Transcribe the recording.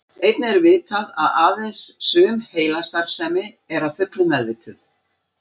Einnig er vitað að aðeins sum heilastarfsemi er að fullu meðvituð.